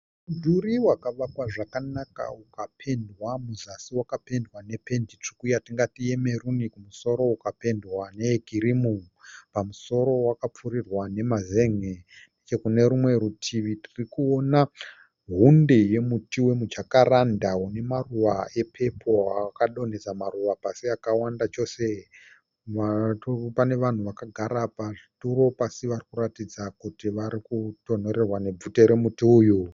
Mudhuri wakavakwa zvakanaka ukapendwa. Muzasi wakapendwa nependi tsvuku yatingati yemeruni. Kumusoro ukapendwa neyekirimu. Pamusoro wakapfirirwa nemazenge. Nechekune rumwe rutivi tirikuona hunde yemuti wemujakaranda une maruva epepuro ayo akadonhesa maruva pasi akawanda chose. Pane vanhu vakagara pazvituro pasi varikuratidza kuti varikutonhorerwa nebvute romuti uyu.